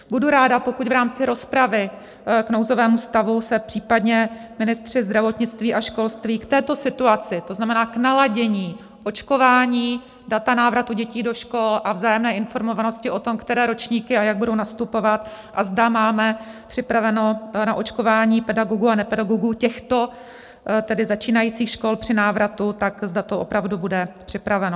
Budu ráda, pokud v rámci rozpravy k nouzovému stavu se případně ministři zdravotnictví a školství k této situaci, to znamená k naladění očkování, data návratu dětí do škol a vzájemné informovanosti o tom, které ročníky a jak budou nastupovat, a zda máme připraveno na očkování pedagogů a nepedagogů těchto tedy začínajících škol při návratu, tak zda to opravdu bude připraveno.